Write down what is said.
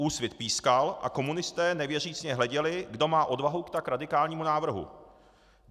Úsvit pískal a komunisté nevěřícně hleděli, kdo má odvahu k tak radikálnímu návrhu.